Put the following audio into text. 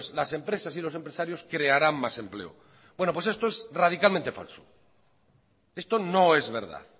las empresas y los empresarios crearán más empleo bueno pues esto es radicalmente falso esto no es verdad